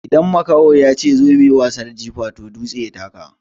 Idan makaho yace "zo mu yi wasan jifa" toh dutse ya taka.